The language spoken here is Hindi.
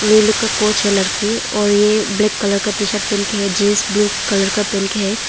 और ये लोग का कोच है लड़की और ये ब्लेक कल का टीशर्ट पहन के है जींस ब्लू कलर का पहन के है।